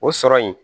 O sɔrɔ in